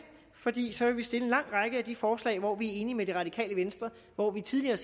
fordi så vil vi stille en lang række af de forslag hvor vi er enige med det radikale venstre og hvor vi tidligere